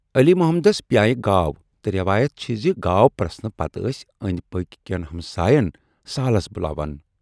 علی محمدس پیایہِ گاو تہٕ ریوایَتھ چھَ زِ گاو پریٚسنہٕ پَتہٕ ٲسۍ ٲندۍ پٔکۍ کٮ۪ن ہمسایَن سالس بُلاوان۔